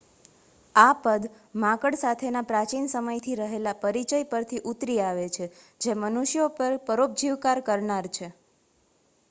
આ પદ માંકડ સાથેના પ્રાચીન સમયથી રહેલા પરિચય પરથી ઉતરી આવે છે જે મનુષ્યો પર પરોપજીવકાર કરનાર છે